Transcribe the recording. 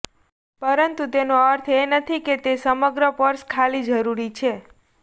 પરંતુ તેનો અર્થ એ નથી કે તે સમગ્ર પર્સ ખાલી જરૂરી છે